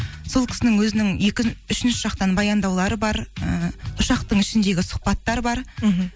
сол кісінің өзінің үшінші жақтан баяндаулары бар ыыы ұшақтың ішіндегі сұхбаттар бар мхм